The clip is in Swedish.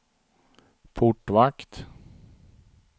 portvakt